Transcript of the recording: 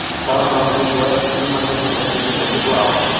Þaðan átti ég svo ekki heimangengt og neyddist til að sigla á